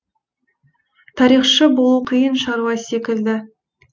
тарихшы болу қиын шаруа секілді